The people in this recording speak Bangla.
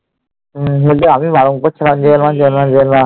হম ওইতো আমি বারণ করছিলাম যেয়োনা যেয়োনা যেয়োনা যেয়োনা